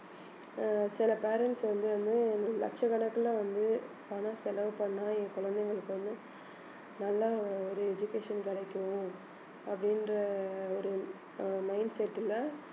அஹ் சில parents வந்து வந்து லட்சக்கணக்குல வந்து பணம் செலவு பண்ணா என் குழந்தைங்களுக்கு வந்து நல்லா ஒரு education கிடைக்கும் அப்படின்ற ஒரு அஹ் mindset ல